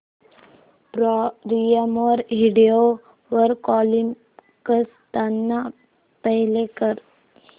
prime video वर Comicstaan play कर